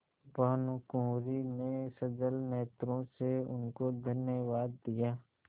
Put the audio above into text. भानुकुँवरि ने सजल नेत्रों से उनको धन्यवाद दिया